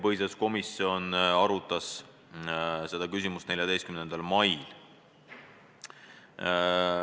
Komisjon arutas seda küsimust 14. mail.